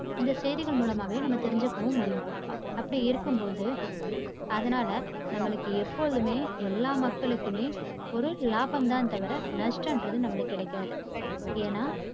இந்த செய்திகள் மூலமாவே நாம தெரிஞ்சுக்கவும் முடியும். அப்படி இருக்கும்போது, அதனால நம்மளுக்கு எப்போதுமே எல்லா மக்களுக்குமே ஒரு லாபம் தான் தவிர நஷ்ட்டங்கிறது நம்மளுக்கு கிடைக்காது. ஏன்னா